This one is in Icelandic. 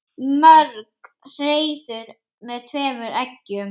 Mörg hreiður með tveimur eggjum.